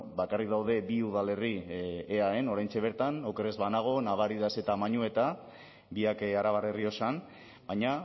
bakarrik daude bi udalerri eaen oraintxe bertan oker ez banago navaridas eta mañueta biak arabar errioxan baina